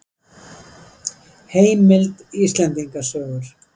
Heimild: Íslendinga sögur.